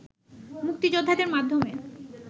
মুক্তিযোদ্ধাদের মাধ্যমে